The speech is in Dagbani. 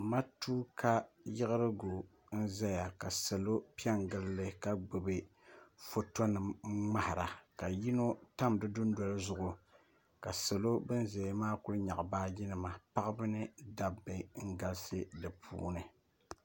Matuukayiɣirigu n-ʒeya ka salo pe n -gili li ka gbubi fotonima n-ŋmahira ka yino tam di dundoli zuɣu ka salo ban ʒeya maa kuli nyaɣi baajinima paɣaba ni dabba n-galisi di puuniEdit